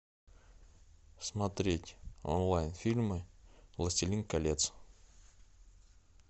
смотреть онлайн фильмы властелин колец